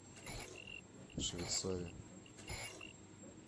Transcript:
швецове